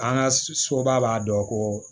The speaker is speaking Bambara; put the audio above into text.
An ka soba b'a dɔn ko